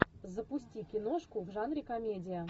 запусти киношку в жанре комедия